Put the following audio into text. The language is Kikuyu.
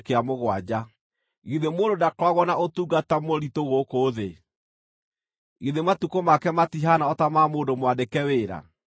“Githĩ mũndũ ndakoragwo na ũtungata mũritũ gũkũ thĩ? Githĩ matukũ make matihaana o ta ma mũndũ mwandĩke wĩra?